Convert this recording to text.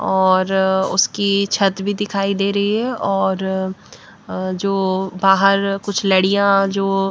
और उसकी छत भी दिखाई दे रही है और जो बाहर कुछ लड़ियाँ जो --